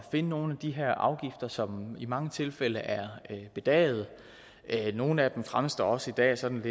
finde nogle af de her afgifter som i mange tilfælde er bedagede nogle af dem fremstår også i dag som